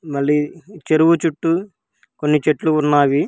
మళ్లీ చెరువు చుట్టూ కొన్ని చెట్లు ఉన్నావి.